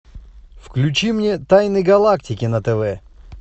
включи мне тайны галактики на тв